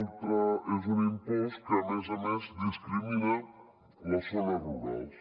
i és un impost que a més a més discrimina les zones rurals